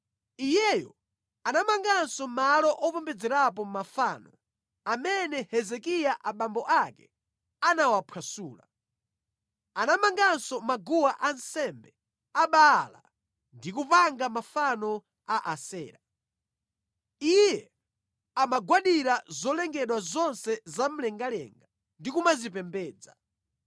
Iyeyo anamanganso malo opembedzerapo mafano amene Hezekiya abambo ake anawaphwasula; anamanganso maguwa ansembe a Baala ndi kupanga mafano a Asera. Iye amagwadira zolengedwa zonse zamlengalenga ndi kumazipembedza.